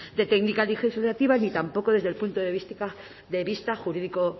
de técnica legislativa ni tampoco desde el punto de vista jurídico